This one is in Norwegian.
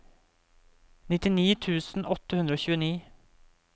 nittini tusen åtte hundre og tjueni